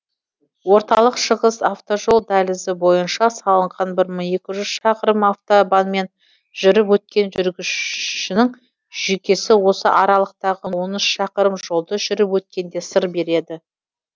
орталық шығыс автожол дәлізі бойынша салынған бір мың екі жүз шақырым автобанмен жүріп өткен жүргіншінің жүйкесі осы аралықтағы он үш шақырым жолды жүріп өткенде сыр береді